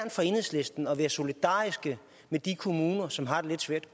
for enhedslisten at være solidarisk med de kommuner som har det lidt svært